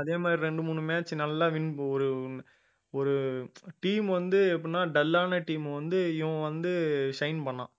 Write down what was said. அதே மாதிரி ரெண்டு மூணு match நல்லா win ஒரு ஒரு team வந்து எப்படின்னா dull ஆன team அ வந்து இவன் வந்து shine பண்ணான்